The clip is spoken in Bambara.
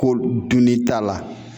Ko dunni t'a la.